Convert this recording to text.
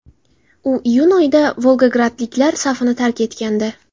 U iyun oyida volgogradliklar safini tark etgandi .